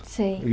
Sim.